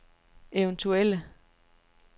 eventuelle